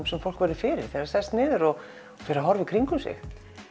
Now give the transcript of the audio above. sem fólk finnur fyrir þegar það sest niður og fer að horfa í kringum sig